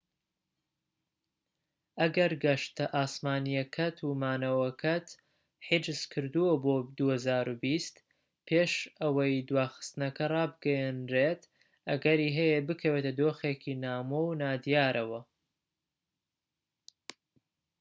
ئەگەر گەشتە ئاسمانیەکەت و مانەوەکەت حیجز کردووە بۆ ٢٠٢٠ پێش ئەوەی دواخستنەکە ڕابگەیەنرێت، ئەگەری هەیە بکەویتە دۆخێکی نامۆ و نادیارەوە